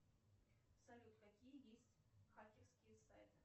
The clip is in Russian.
салют какие есть хакерские сайты